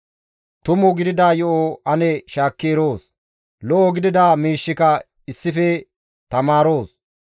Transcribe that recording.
Tumu gidida yo7o ane shaakki eroos; lo7o gidida miishshika issife tamaaroos.